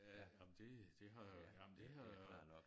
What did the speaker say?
Ja ej men det det har ej men det har